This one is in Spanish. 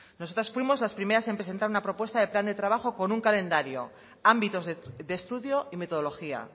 nosotras fuimos las primeras en presentar una propuesta de plan de trabajo con un calendario ámbitos de estudio y metodología